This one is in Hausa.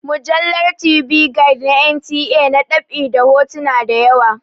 Mujallar TV Guide na NTA na ɗab'i da hotuna da yawa.